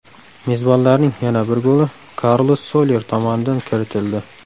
Mezbonlarning yana bir goli Karlos Solyer tomonidan kiritildi.